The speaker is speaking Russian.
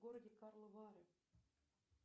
в городе карловы вары